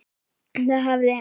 Það hafði